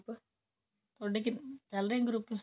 ਥੋਡੇ ਕਿੰਨੇ ਚਲ ਰਹੇ ਨੇ group